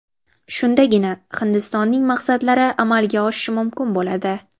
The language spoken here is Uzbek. Shundagina Hindistonning maqsadlari amalga oshishi mumkin bo‘ladi.